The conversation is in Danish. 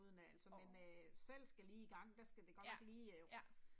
Åh. Ja, ja